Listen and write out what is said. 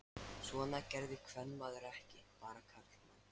Svona gerði kvenmaður ekki, bara karlmenn.